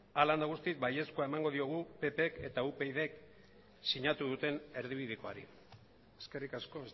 hala eta guztiz baiezkoa emango diogu ppk eta upydk sinatu duten erdibidekoari eskerrik asko